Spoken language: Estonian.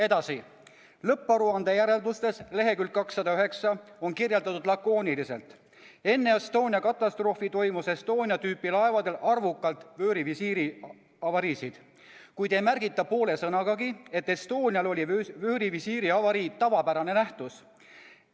Edasi, lõpparuande järeldustes leheküljel 209 on kirjeldatud lakooniliselt, et enne Estonia katastroofi toimus Estonia tüüpi laevadel arvukalt vöörivisiiri avariisid, kuid ei märgita poole sõnagagi, et Estonial oli vöörivisiiri avarii tavapärane nähtus.